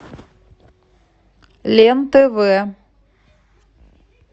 лен тв